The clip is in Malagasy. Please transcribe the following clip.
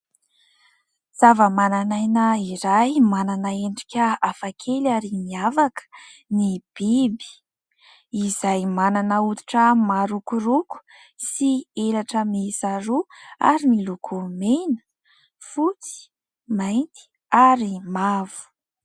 Zavamananaina iray manana endrika hafa kely ary niavaka ny biby. Izay manana hoditra marokoroko sy elatra miisa roa ary miloko mena, fotsy, mainty ary mavo.